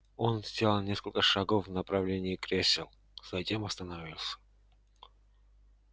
он сделал несколько шагов в направлении кресел затем остановился